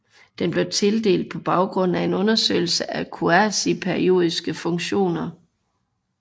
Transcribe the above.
Den blev tildelt på baggrund af en undersøgelse af kuasiperiodiske funktioner